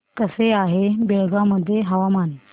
कसे आहे बेळगाव मध्ये हवामान